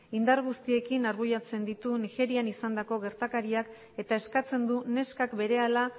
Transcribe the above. indar guztiekin argudiatzen dituen nigerian izandako gertakariak eta eskatzen du neskak berehala